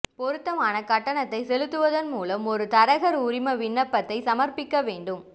பொருத்தமான கட்டணத்தை செலுத்துவதன் மூலம் ஒரு தரகர் உரிம விண்ணப்பத்தை சமர்ப்பிக்க வேண்டும்